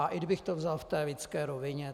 A i kdybych to vzal v té lidské rovině.